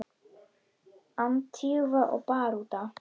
Antígva og Barbúda